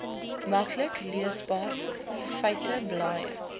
maklik leesbare feiteblaaie